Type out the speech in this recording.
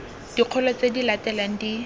dikgolo tse di latelang di